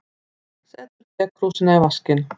Setur tekrúsina í vaskinn.